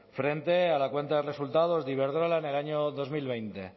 frente a la cuenta de resultados de iberdrola en el año dos mil veinte